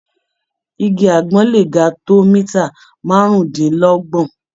Igi àgbọn le ga tó mítà márùndínlọ́gbọ̀n.